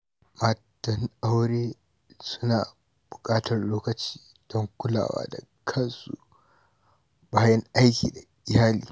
Matan aure suna buƙatar lokaci don kulawa da kansu bayan aiki da iyali.